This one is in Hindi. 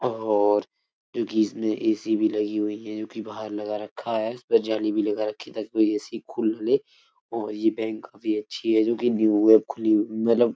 और जो कि इसमे एसी भी लगी हुई है जो कि बाहर लगा रखा है और जाली भी लगा रखी है ताकि कोई एसी खुल ना ले और ये बैंक भी अच्छी है जो कि न्यू है खुली मतलब --